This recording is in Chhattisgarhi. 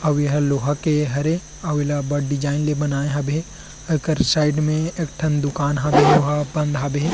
अवु येह लोहा के हरे अवु ये ला अब्बड़ डिजायन ले बनाएं हबे एकर साइड में एक ठन दुकान हबे ओह बंद हबे। --